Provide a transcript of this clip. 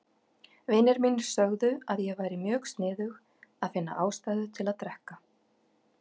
Vinir mínir sögðu að ég væri mjög sniðug að finna ástæðu til að drekka.